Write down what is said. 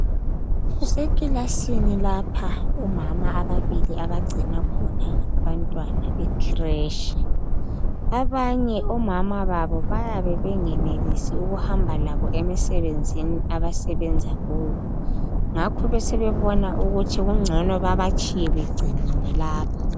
Kusekilasini lapha. Omama ababili abagcina khona abantwana bekhireshi. Abanye omama babo bayabe bengenelisi ukuhamba labo emisebenzini abasebenza kuyo, ngakho besebebona ukuthi kungcono babatshiye begciniwe lapha.